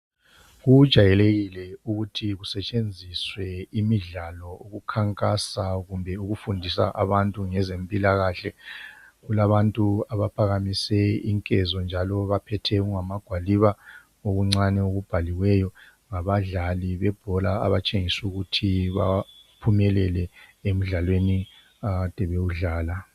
Kujayelekile ukuthi kusetshenziswe imidlalo ukukhankasa kumbe ukufundisa abantu ngezempilakhle. Kulabantu abaphakamise inkezo njalo baphethe okungamagwaliba okuncane okubhaliweyo. Ngabadlali bebhola abatshengisa ukuthi baphumelele emdlalweni akade bewudlala.